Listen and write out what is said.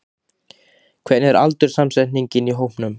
Hvernig er aldurssamsetningin í hópnum?